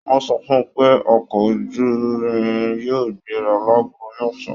Wọn sọ fún pé ọkọ ojúrin yóò gbéra láàgò mẹsan.